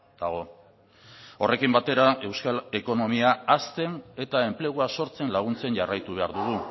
dago horrekin batera euskal ekonomia hazten eta enplegua sortzen laguntzen jarraitu behar dugu